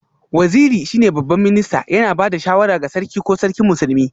Waziri shine Babban Minista, yana ba da shawara ga Sarki ko Sarkin Musulmi